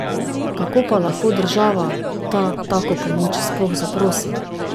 Kako pa lahko država ta tako pomoč sploh zaprosi?